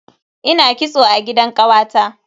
Ina kitso a gidan kawata.